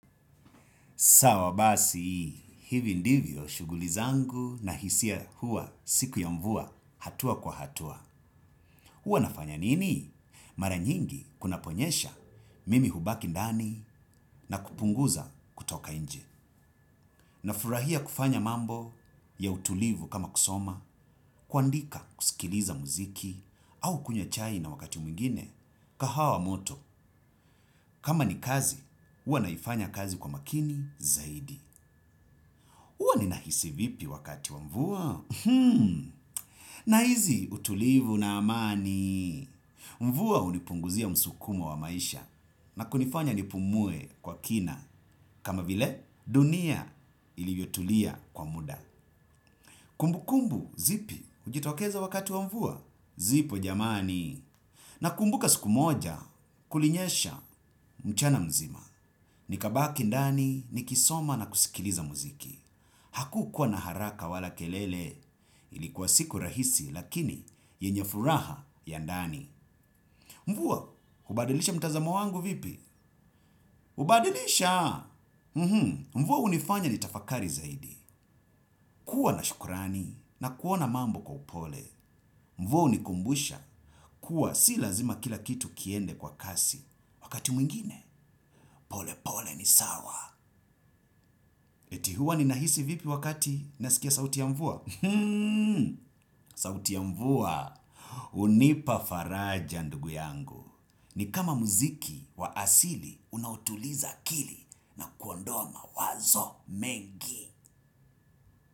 Sawa basi, hivi ndivyo shuguli zangu na hisia huwa siku ya mvua hatua kwa hatua. Huwa nafanya nini? Mara nyingi kuna ponyesha mimi hubaki ndani na kupunguza kutoka nje. Na furahia kufanya mambo ya utulivu kama kusoma, kuandika kusikiliza muziki au kunywa chai na wakati mwingine kahawa moto. Kama ni kazi, huwa naifanya kazi kwa makini zaidi. Huwa ninahisi vipi wakati wa mvua? Na hisi utulivu na amani. Mvua hunipunguzia msukumo wa maisha na kunifanya nipumue kwa kina kama vile dunia ilivyotulia kwa muda. Kumbukumbu zipi hujitokeza wakati wa mvua, zipo jamani. Na kumbuka siku moja kulinyesha mchana mzima. Nikabaki ndani nikisoma na kusikiliza muziki. Haku kuwa na haraka wala kelele ilikuwa siku rahisi lakini yenye furaha ya ndani. Mvua, hubadilisha mtazamo wangu vipi? Hubadilisha! Mvuwa hunifanya nitafakari zaidi. Kuwa na shukrani na kuona mambo kwa upole. Mvua hunikumbusha kuwa si lazima kila kitu kiende kwa kasi wakati mwingine. Pole pole ni sawa. Eti huwa ninahisi vipi wakati nasikia sauti ya mvua? Sauti ya mvua hunipa faraja ndugu yangu. Ni kama muziki wa asili unaotuliza akili na kuondoa mawazo mengi.